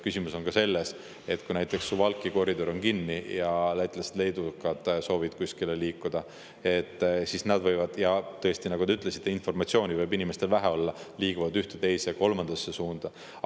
Küsimus on ka selles, et kui näiteks Suwałki koridor on kinni ja lätlased-leedukad soovivad kuskile liikuda, siis nad liiguvad – ja tõesti, nagu te ütlesite, informatsiooni võib inimestel vähe olla – ühte, teise, kolmandasse suunda.